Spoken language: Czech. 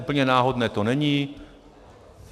Úplně náhodné to není.